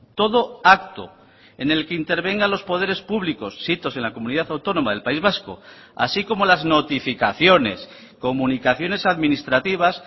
todo acto en el que intervenga los poderes públicos sitos en la comunidad autónoma del país vasco así como las notificaciones comunicaciones administrativas